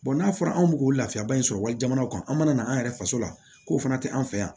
n'a fɔra an mi k'o lafiyaba in sɔrɔ wali jamanaw kan an mana na an yɛrɛ faso la k'o fana tɛ an fɛ yan